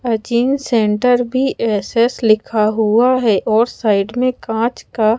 अजिंग centre भी S S लिखा हुआ हैं और साइड में कांच का--